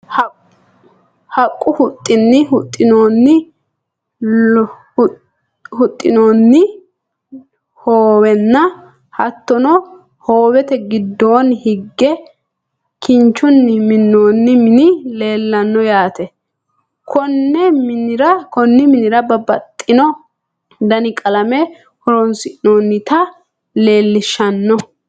haqqu huxxinni huxxinoonni hoowenna hattono hoowete giddoonni hige kinchunni minnoonni mini leelanno yaate. konni minira babbaxino dani qalameno horonsi'noonnita leelishanno.